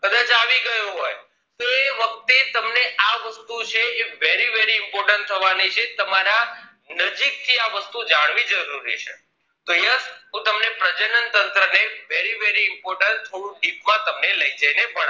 તે વખતે તમને આ વસ્તુઓ છે એ very very important થવાની છે તમારા નજીક થી આ વસ્તુઓ જાણવી જરૂરી છે તો yes હું તમને પ્રજનન તંત્ર ને very very important થોડું dip માં તમને લઇ જઈને